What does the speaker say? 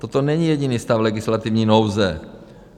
Toto není jediný stav legislativní nouze.